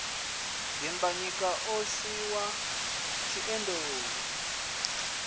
dimbanyika o swi wa tshiendeulu